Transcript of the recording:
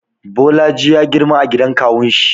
Bolaji ya girma a gidan kawunshi.